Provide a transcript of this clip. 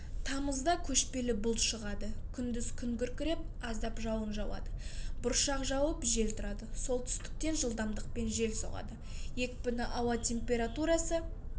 тамызда көшпелі бұлт шығады күндіз күн күркіреп аздап жауын жауады бұршақ жауып жел тұрады солтүстіктен жылдамдықпен жел соғады екпіні ауа температурасы